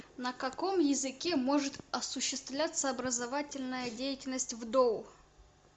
на каком языке может осуществляться образовательная деятельность в доу